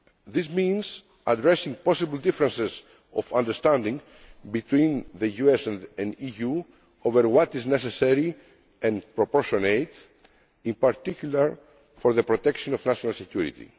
This means addressing possible differences of understanding between the US and the EU over what is necessary and proportionate, in particular for the protection of national security.